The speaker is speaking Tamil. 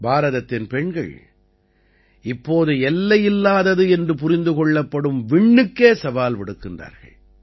பாரதத்தின் பெண்கள் இப்போது எல்லையில்லாதது என்று புரிந்து கொள்ளப்படும் விண்ணுக்கே சவால் விடுக்கின்றார்கள்